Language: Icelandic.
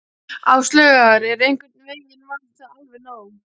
Áslaugar og einhvern veginn var það alveg nóg.